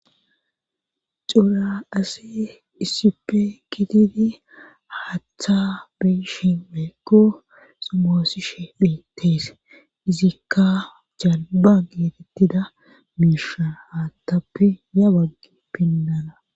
Cura ase issipe kitidi haaththa beyshi meekko sumoosishe phiittees izikka jalba geetettida miisha haattappe ya baggi pinnana.